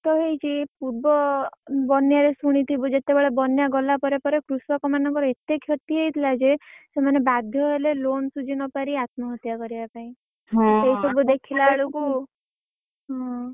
ନଷ୍ଟ ହେଇଛି ପୁର୍ବ ବନ୍ୟାରେ ଶୁଣିଥିବୁ ଯେତବେଳେ ବନ୍ୟା ଗଲା ପରେ ପରେ କୃଷକମାନଙ୍କର ଏତେ କ୍ଷତି ହେଇଥିଲା ଯେ ସେମାନେ ବାଧ୍ୟ ହେଲେ loan ଶୁଝିନପାରି ଆତ୍ମହତ୍ୟା କରିବା ପାଇଁ। ସେଇ ସବୁ ଦେଖିଲାବେଳକୁ ହୁଁ,